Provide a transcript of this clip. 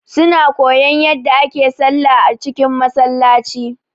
Su na koyan yadda ake sallah a cikin Masallaci